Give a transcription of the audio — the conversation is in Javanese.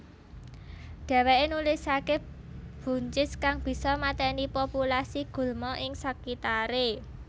Dheweke nulisake buncis kang bisa mateni populasi gulma ing sekitare